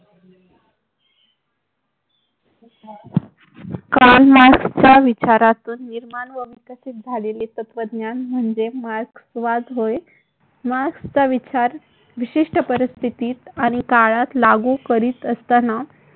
Carl मार्क्सच्या विचारातून निर्माण व विकसित झालेले तत्त्वज्ञान म्हणजे मार्क्सवाद होय. मार्क्सचा विचार विशिष्ट परिस्थितीत आणि काळात लागू करीत असताना